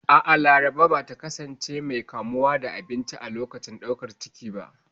A'a, Laraba ba ta kasance mai kamuwa da abinci a lokacin ɗaukar ciki ba.